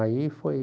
Aí foi...